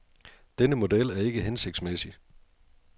Denne model er ikke hensigtsmæssig.